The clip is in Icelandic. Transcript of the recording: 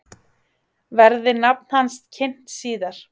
Verði nafn hans kynnt síðar